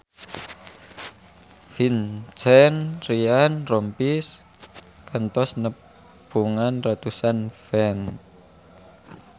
Vincent Ryan Rompies kantos nepungan ratusan fans